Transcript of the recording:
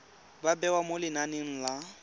ba bewa mo lenaneng la